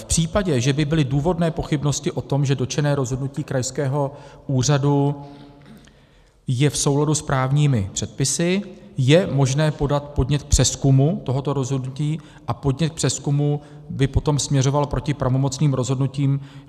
V případě, že by byly důvodné pochybnosti o tom, že dotčené rozhodnutí krajského úřadu je v souladu s právními předpisy, je možné podat podnět k přezkumu tohoto rozhodnutí a podnět k přezkumu by potom směřoval proti pravomocným rozhodnutím.